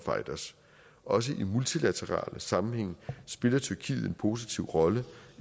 også i multilaterale sammenhænge spiller tyrkiet en positiv rolle